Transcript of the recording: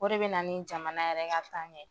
O de bɛ na nin jamana yɛrɛ ka taaɲɛ ye